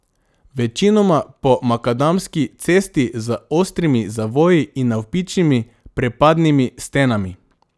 Večinoma po makadamski cesti z ostrimi zavoji in navpičnimi prepadnimi stenami.